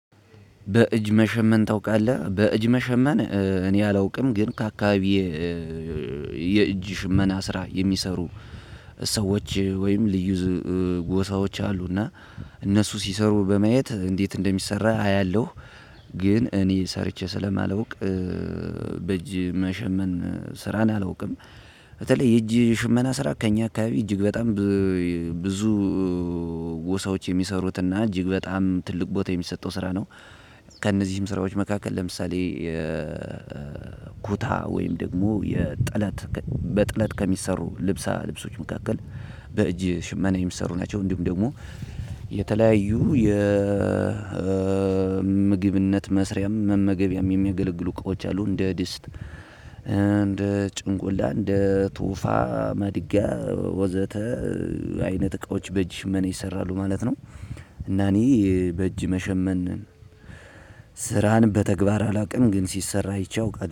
በእጅ መሸመን ታውቃለህ በእጅ መሸመን እኔ አላውቅም ግን ከአካባቢዬ የእጅ ሽመና ስራ የሚሰሩ ሰዎች ወይም ልዩ ጎሳዎች አሉና እነሱ ሲሰሩ በማየት እንዴት እንደሚሰራ አያለሁ ግን እኔ ሰርቼ ስለማላውቅ በእጅ መሸመን ስራን አላውቅም በተለይ የእጅ ሽመና ስራ ከእኛ አካባቢ እጅግ በጣም ብዙ ጎሳዎች የሚሰሩትና እጅግ በጣም ትልቅ ቦታ የሚሰጠው ስራ ነው። ከእነዚህም ስራዎች መካከል ለምሳሌ። ኩታ ወይም ደግሞ የጥለት በጥለት ከሚሰሩ ልብሳ ልብሶች መካከል በእጅ ሽመና የሚሰሩ ናቸው። እንዲሁም ደግሞ የተለያዩ የምግብነት መስሪያም መመገቢያም የሚገለግሉ እቃዎች አሉ እንደ ድስት እንደ ጭንቁላ እንደ ቱፋ ማድጋ ወዘተ አይነት እቃዎች በእጅ ሽመና ይሰራሉ ማለት ነው። እና እኔ በእጅ መሸመን ስራን በተግባር አላውቅም ግን ሲሰራ አይቼ አውቃለው